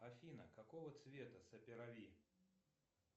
афина какого цвета саперави